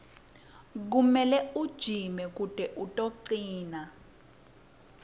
kumele ujime kute utocina